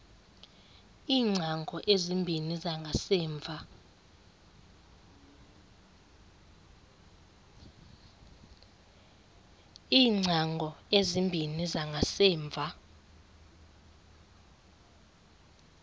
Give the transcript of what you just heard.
iingcango ezimbini zangasemva